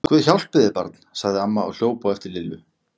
Guð hjálpi þér barn! sagði amma og hljóp á eftir Lillu.